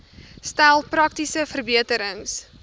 stel praktiese verbeterings